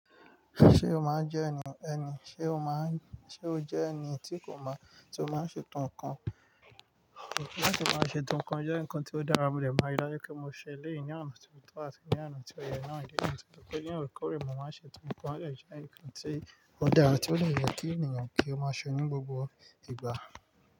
Ṣé o máa ń jẹ́ ẹni, ẹni, ṣe o máa ń, ṣe o jẹ́ ẹni tí kò mọ tí o máa ń ṣe to nǹkan? Látí máa ṣe to nǹkan jẹ́ nǹkan tí ó dára, mo dè máa rí dáju pé mo ṣẹlẹ̀ yìí ní àná tí mo tọ̀ á sì ní àná tí ó yẹ náà, ó jẹ́ nǹkan tó pé ní àárọ̀ karùn-ún mo máa ṣe tún nǹkan, ó jẹ́ nǹkan tí ó dára tí ó ní ìyàn kí ènìyàn kí ó máa ṣọ ní gbogbo ìgbà.